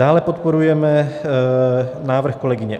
Dále podporujeme návrh kolegyně